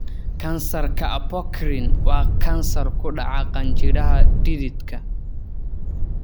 Kansarka apocrine waa kansar ku dhaca qanjidhada dhididka.